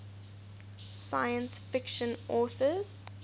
science fiction authors